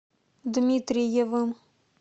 дмитриевым